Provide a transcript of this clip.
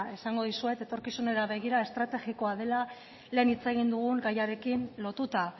esango dizuet etorkizunari begira estrategikoa dela lehen hitz egin dugun gaiarekin lotuta